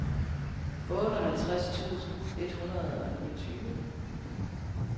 otteoghalvtreds tusind et hundrede og niogtyve